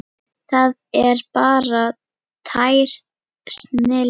Það er bara tær snilld.